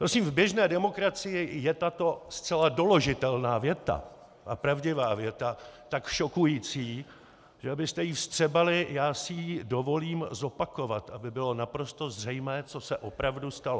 Prosím, v běžné demokracii je tato zcela doložitelná věta a pravdivá věta tak šokující, že abyste ji vstřebali, já si ji dovolím zopakovat, aby bylo naprosto zřejmé, co se opravdu stalo.